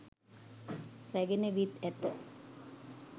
රැගෙන විත් ඇත.